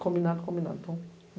Combinado, combinado.